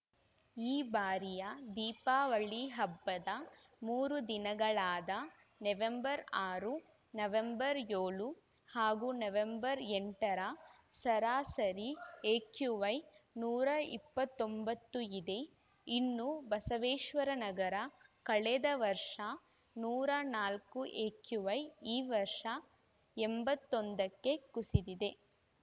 ಈ ಬಾರಿಯ ದೀಪಾವಳಿ ಹಬ್ಬದ ಮೂರು ದಿನಗಳಾದ ನವೆಂಬರ್ ಆರು ನವೆಂಬರ್ ಏಳು ಹಾಗೂ ನವೆಂಬರ್ ಎಂಟರ ಸರಾಸರಿ ಎಕ್ಯೂಐ ನೂರ ಇಪ್ಪತ್ತ್ ಒಂಬತ್ತು ಇದೆ ಇನ್ನು ಬಸವೇಶ್ವರನಗರ ಕಳೆದ ವರ್ಷ ನೂರ ನಾಲ್ಕು ಎಕ್ಯೂಐ ಈ ವರ್ಷ ಎಂಬತ್ತೊಂದಕ್ಕೆ ಕುಸಿದಿದೆ